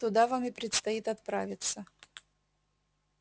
туда вам и предстоит отправиться